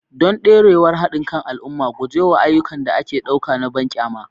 Don dorewar haɗin kan al'umma, guje wa ayyukan da ake ɗauka na banƙyama.